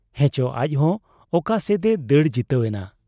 ᱦᱮᱸᱪᱚ ᱟᱡᱦᱚᱸ ᱚᱠᱟ ᱥᱮᱫ ᱮ ᱫᱟᱹᱲ ᱡᱤᱛᱟᱹᱣ ᱮᱱ ᱾